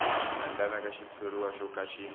endlaka xitshuriwa xo ka xi